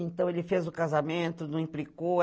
Então, ele fez o casamento, não implicou.